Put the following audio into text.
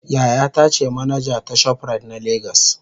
yayata ce manaja ta shoprite na Lagos.